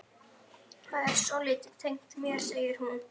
Það er svolítið tengt mér, segir hún.